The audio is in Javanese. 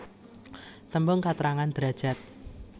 Tembung katrangan derajad